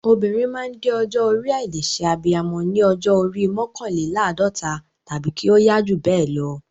Obìnrin máa ń dé ọjọ́ orí àìlè ṣe abiyamọ ní ọjọ́ orí mọ́kànléláàdọ́ta tàbí kí ó yá jù bẹ́ẹ̀ lọ.